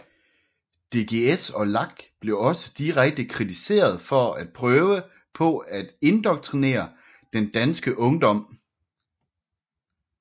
DGS og LAK blev også direkte kritiseret for at prøve på at indoktrinere den danske ungdom